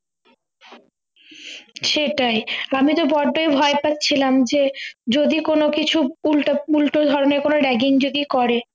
সেটাই আমি তো বড্ডই ভয় পাচ্ছিলাম যে যদি কোন কিছু উল্টো উল্টো ধরনের কোনো ragging যদি করে